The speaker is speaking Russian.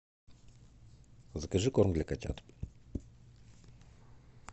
закажи корм для котят